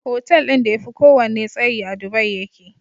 Hotel din da yafi kowanne tsayi a dubai yake